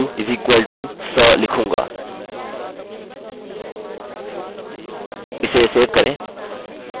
मैं पूर्ण सुनिश्चित नहीं हूँकि एक md5 string कितनी लम्बी होती है किन्तु मैं length value = 100 लिखूँगा इसे सेव करें